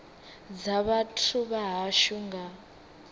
dza vhathu vha hashu nga